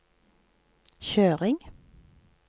kjøring